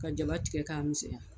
Ka jaba tigɛ k'a misɛya